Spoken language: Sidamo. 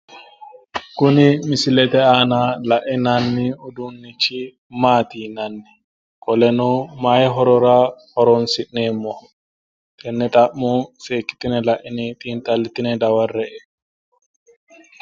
Kuni misilete aana lainanni uduunnichi maati yinanniho qoleno mayi horora horonsi'nanniho tenne xa'mo seekkitine laine dawarre''e.